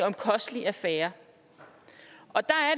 en kostelig affære og der er